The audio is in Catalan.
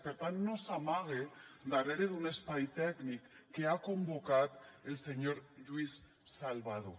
per tant no s’amague darrere d’un espai tècnic que ha convocat el senyor lluís salvadó